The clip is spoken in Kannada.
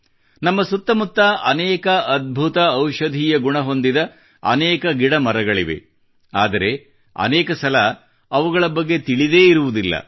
ನಮ್ಮ ಸುತ್ತ ಮುತ್ತ ಅನೇಕ ಅದ್ಭುತ ಔಷಧೀಯ ಗುಣ ಹೊಂದಿದ ಅನೇಕ ಗಿಡ ಮರಗಳಿವೆ ಆದರೆ ಅನೇಕ ಸಲ ಅವುಗಳ ಬಗ್ಗೆ ತಿಳಿದೇ ಇರುವುದಿಲ್ಲ